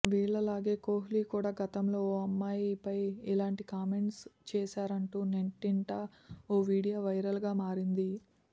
వీళ్లలాగే కోహ్లీ కూడా గతంలో ఓ అమ్మాయిపై ఇలాంటి కామెంట్స్ చేశారంటూ నెట్టింట ఓ వీడియో వైరల్ గా మారింది